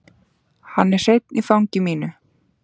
Hann er hreinn í fangi mínu.